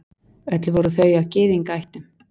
Öll voru þau af Gyðingaættum.